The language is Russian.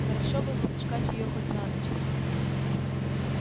хорошо бы выпускать её хоть на ночь